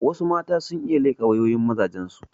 Wassu mata sun iya leƙa wayoyin mazajen su